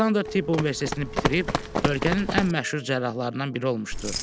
Aleksandr Tibb Universitetini bitirib ölkənin ən məşhur cərrahlarından biri olmuşdu.